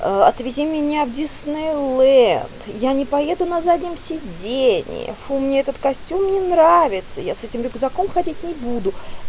аа отведи меня в диснейленд я не поеду на заднем сидении фу мне этот костюм не нравится я с этим рюкзаком ходить не буду